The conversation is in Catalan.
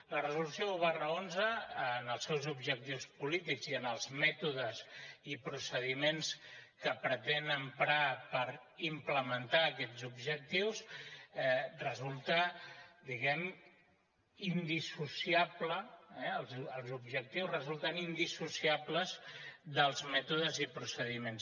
la resolució un xi en els seus objectius polítics i en els mètodes i procediments que pretén emprar per implementar aquests objectius resulta diguem ne indissociables els objectius resulten indissociables dels mètodes i procediments